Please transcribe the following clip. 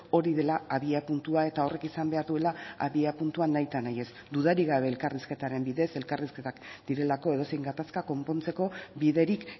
hori dela abiapuntua eta horrek izan behar duela abiapuntua nahitanahiez dudarik gabe elkarrizketaren bidez elkarrizketak direlako edozein gatazka konpontzeko biderik